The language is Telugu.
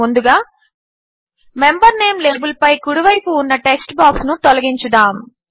ముందుగా మెంబర్ నేం లేబిల్పై కుడివైపున ఉన్న టెక్స్ట్ బాక్స్ను తొలగించుదాము